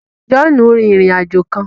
Johnu ǹ rin ìrìn-àjò kàn